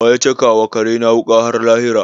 Wa ya caka wa kare na wuƙa har lahira?